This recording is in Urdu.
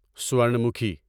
سورن مکھی